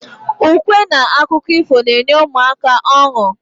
Ukwe n akụkọ ifo n'enye ụmụaka ọnu